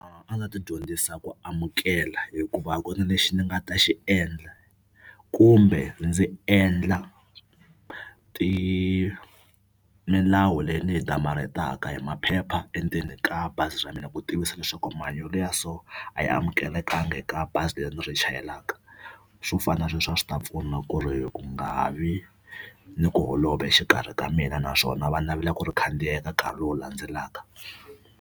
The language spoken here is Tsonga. A nga ti dyondzisa ku amukela hikuva a ku na lexi ni nga ta xi endla kumbe ndzi endla milawu leyi ni yi damarhetaka hi maphepha endzeni ka bazi ra mina ku tivisa leswaku mahanyelo ya so a ya amukelekangi eka bazi leri ni ri chayelaka swo fana sweswo a swi ta pfuna ku ri ku nga ha vi ni ku holova exikarhi ka mina naswona va navela ku ri khandziya eka nkarhi lowu landzelaka.